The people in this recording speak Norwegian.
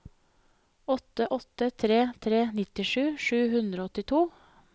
åtte åtte tre tre nittisju sju hundre og åttito